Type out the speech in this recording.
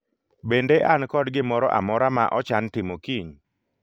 Bende an kod gimoro amora ma ochan timo kiny